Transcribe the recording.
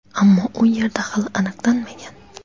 ammo u yerda hali aniqlanmagan.